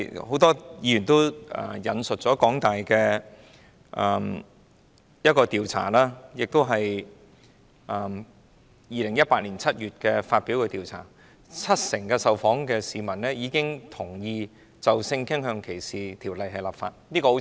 很多議員也引述了香港大學在2018年7月發表的調查報告，指七成受訪市民已經同意就性傾向歧視條例立法。